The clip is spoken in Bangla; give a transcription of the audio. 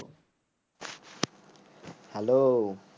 hello